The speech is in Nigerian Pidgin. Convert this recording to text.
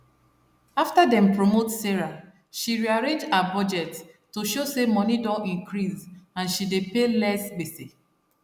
after dem promote sarah she rearrange her budget to show say money don increase and she dey pay less gbese